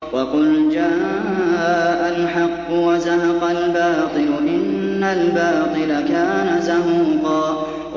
وَقُلْ جَاءَ الْحَقُّ وَزَهَقَ الْبَاطِلُ ۚ إِنَّ الْبَاطِلَ كَانَ زَهُوقًا